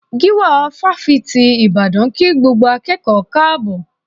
Gíwá Ifásitì Ìbàdàn kí gbogbo akẹ́kọ̀ọ́ káàbọ̀